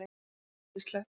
Það væri æðislegt!